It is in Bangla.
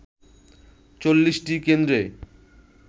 ৪০টি কেন্দ্রে